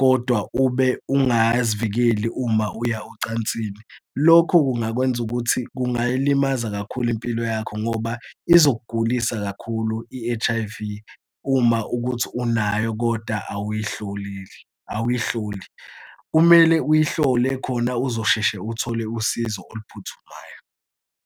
kodwa ube ungazivikeli uma uya ocansini, lokho kungakwenza ukuthi kungayilimazi kakhulu impilo yakho ngoba izokugulisa kakhulu i-H_I_V uma ukuthi unayo kodwa awuyihlolile, awuyihloli. Kumele uyihlole khona uzosheshe uthole usizo oluphuthumayo.